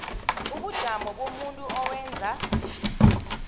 ubujamo bomuntu owenza